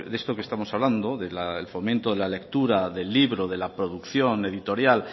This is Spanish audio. de esto que estamos hablando del fomento de la lectura del libro de la producción la editorial